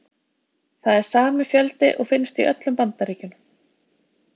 Það er sami fjöldi og finnst í öllum Bandaríkjunum.